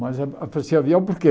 Mas ah oferecia avião por quê?